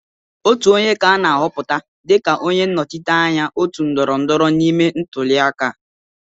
Otu onye ka ana ahọpụta dịka onye nnọchiteanya otu ndọrọndọrọ ime ntụliaka.